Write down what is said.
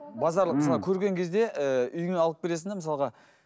базарлық ммм мысалы көрген кезде ііі үйіңе алып келесің де мысалға